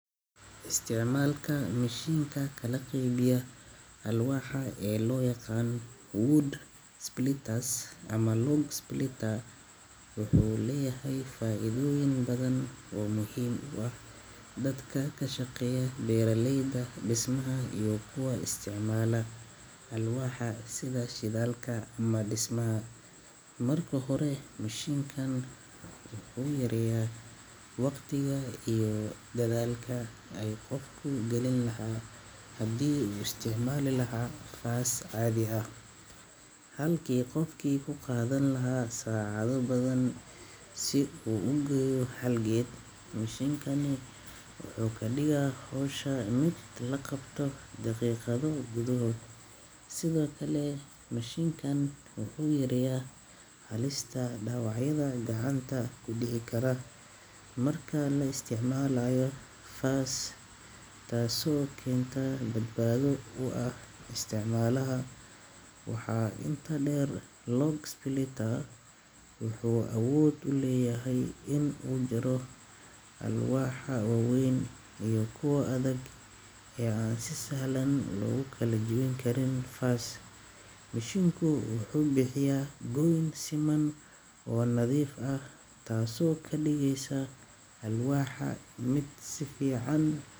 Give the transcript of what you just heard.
Istiimaamka mishiinka ka laqabiya alwaaha ee loo yaqaan Wood Splitters ama Log Splitter wuxuu leeyahay faa'iidooyin badan oo muhiim u ah dadka ka shaqeeya beeraleyda, dhismaha iyo kuwa isticmaalaa alwaaha sida shidaalka ama dhismaha. Marka hore, mishiinkan wuxuu yaryaa waqtiga iyo dadaalka ay qofku gelin lahaa haddii isticmaal lahaa faas caadi ah. Halkii qofkii ku qaadan lahaa saacad badan si uu ogeyo xalgeed, mishiinkani wuxuu ka dhigaa hawsha mid la qabto daqiiqado gudahood. Sidoo kale, mashiinkan wuxuu yaryaa halista dhawacyada gacanta ku dhiici kara markaa la isticmaalaayo faas, taaso keenta dadbaado u ah isticmaalaha. Waxaa inta dheer Log Splitter wuxuu awood u leeyahay in uu jiro alwaaha wawayn iyo kuwo adag ee aan si sahlan loogu kala jeebin karin faas. Mishiinku wuxuu bixiyaa goyn siman oo nadiif ah, taasoo ka dhigaysa alwaaha mid sifiican.